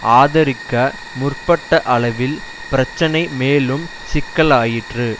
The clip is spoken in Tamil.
ஆதரிக்க முற்பட்ட அளவில் பிரச்சனை மேலும் சிக்கலாயிற்று